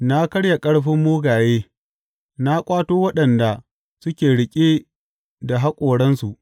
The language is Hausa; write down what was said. Na karya ƙarfin mugaye na ƙwato waɗanda suke riƙe da haƙoransu.